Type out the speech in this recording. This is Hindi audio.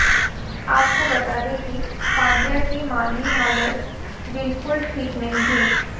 आपको बता दें कि पांड्या की माली हालत बिल्कुल ठीक नहीं थी